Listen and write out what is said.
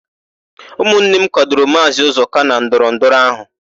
Ụmụnne m kwadoro Maazị Ụzọka na ndọrọndọrọ áhụ̀.